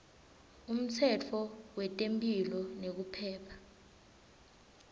umtsetfo wetemphilo nekuphepha